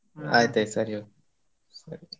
ಸರಿ ಸರಿ.